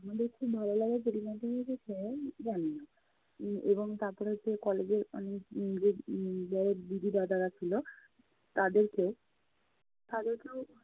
আমাদের খুব ভালো লাগার পরিমাণ জানি না। এবং উম এবং তারপরে হচ্ছে college এর উম যারা দিদি দাদারা ছিলো তাদেরকে~তাদেরকেও